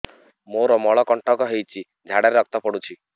ମୋରୋ ମଳକଣ୍ଟକ ହେଇଚି ଝାଡ଼ାରେ ରକ୍ତ ପଡୁଛି